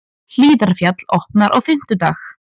Hlíðarfjall opnar á fimmtudag